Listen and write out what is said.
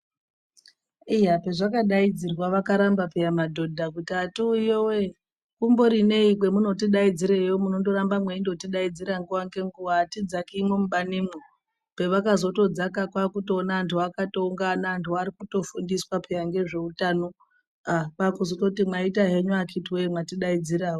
Iya pezvakadaidzirwa vakaramba peya madhodha kuti atiuyiyowe, kumbori nei kwamunotidaidzireyo munondoramba mweitidaidzira nguva ngenguva hatidzakimwo mubanimwo. Pevakatozodzaka kwaakutoona antu akatoungana, antu arikutofundiswa peya ngezveutano ah kwaakutozoti mwaita henyu akiti wee mwatidaidzirawo.